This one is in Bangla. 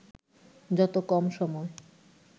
যত কম সময়